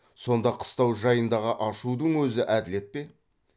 сонда қыстау жайындағы ашудың өзі әділет пе